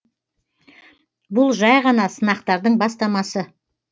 бұл жәй ғана сынақтардың бастамасы